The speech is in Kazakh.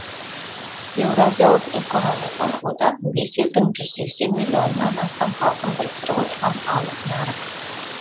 еуразиялық экономикалық одақ бес елдің жүз сексенмиллионнан астам халқын біріктіріп отырған алып нарық